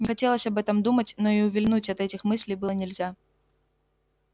не хотелось об этом думать но и увильнуть от этих мыслей было нельзя